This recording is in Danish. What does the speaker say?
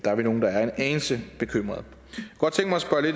vi nogle der er en anelse bekymrede